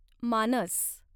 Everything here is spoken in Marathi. मानस